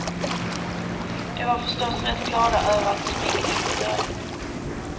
De var förstås rätt glada över att smyga in i början.